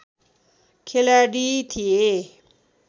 खेलाडी थिए